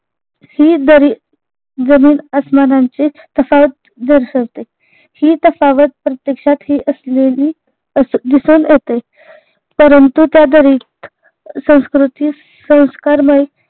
ही दरी जमीन आस्मानाचे तफावत दर्शवते. ही तफावत प्रत्यक्षात ही असलेली अस दिसून येते परंतु त्या दरीत संस्कृतीत संस्कारमय